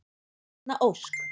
Erna Ósk.